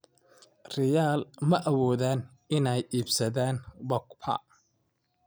Real ma awoodaan inay iibsadaan Pogba?